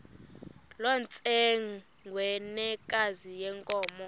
loo ntsengwanekazi yenkomo